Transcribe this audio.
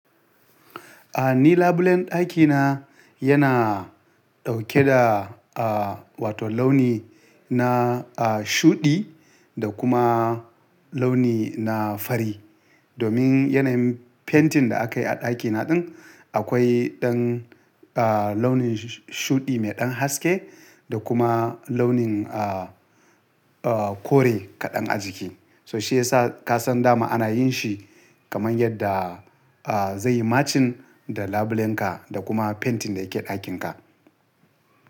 A ni, labulen ɗaki na yana dauke da, ah, wato launi na, ah, shuɗi da kuma launi na fari. Domin yanayin fentin da aka yi a ɗakina ɗin, akwai ɗan, ah, launin shuɗi mai ɗan haske da kuma launin, ah, kore kaɗan a jiki. So shi ya sa ka san dama ana yin shi kaman yadda, ah, zai yi matching da labulenka da kuma fentin da yake ɗakinka.